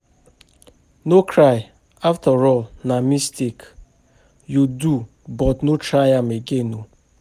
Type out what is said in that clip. No cry afterall na mistake you do but no try am again oo